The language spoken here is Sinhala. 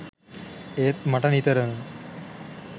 ඒත් මට නිතරම